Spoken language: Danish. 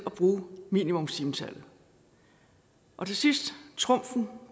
at bruge minimumstimetallet og til sidst trumfen